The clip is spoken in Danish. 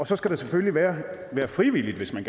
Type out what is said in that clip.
så skal det selvfølgelig være frivilligt hvis man